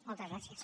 moltes gràcies